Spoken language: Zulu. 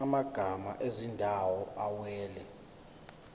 amagama ezindawo awela